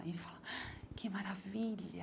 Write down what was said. E ele fala, que maravilha.